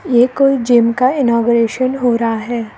ये कोई जिम का इनॉग्रेशन हो रहा है।